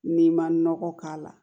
N'i ma nɔgɔ k'a la